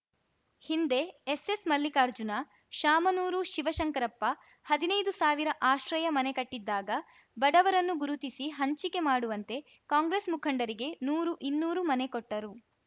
ಹಿಂದೆ ಎಸ್ಸೆಸ್‌ ಮಲ್ಲಿಕಾರ್ಜುನ ಶಾಮನೂರು ಶಿವಶಂಕರಪ್ಪ ಹದಿನೈದು ಸಾವಿರ ಆಶ್ರಯ ಮನೆ ಕಟ್ಟಿದ್ದಾಗ ಬಡವರನ್ನು ಗುರುತಿಸಿ ಹಂಚಿಕೆ ಮಾಡುವಂತೆ ಕಾಂಗ್ರೆಸ್‌ ಮುಖಂಡರಿಗೆ ನೂರು ಇನ್ನೂರು ಮನೆ ಕೊಟ್ಟರು